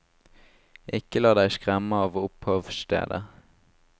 Ikke la deg skremme av opphavsstedet.